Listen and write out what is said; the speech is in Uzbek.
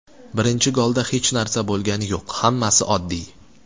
Birinchi golda hech narsa bo‘lgani yo‘q, hammasi oddiy.